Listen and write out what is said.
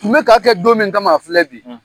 Tun be ka kɛ don min kama , a filɛ bi